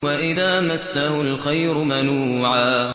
وَإِذَا مَسَّهُ الْخَيْرُ مَنُوعًا